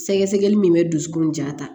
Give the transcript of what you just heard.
Sɛgɛsɛgɛli min bɛ dusukun ja ta